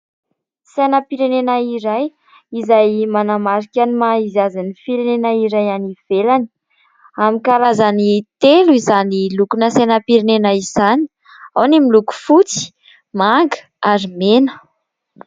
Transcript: Sainam-pirenena iray izay manamarika ny maha izy azy ny firenena iray any ivelany. Amin'ny karazany telo izany lokona sainam-pirenena izany, ao ny miloko fotsy, manga ary mena.